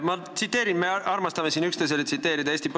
Me armastame siin üksteisele Eesti põhiseadust tsiteerida.